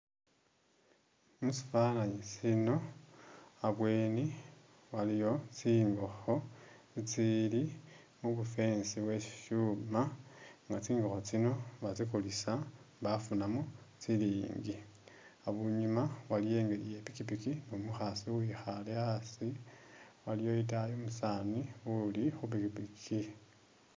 Musifananyi sino abweni waliyo tsingokho tsili mubu-fence byebibyuma nga tsingokho tsino batsikulisa bafunamo silingi abunyuma waliwo ipikipiki numukhasi uwikhale asi aliwo itaayi umusani uli khu pikipiki